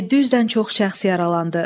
700-dən çox şəxs yaralandı.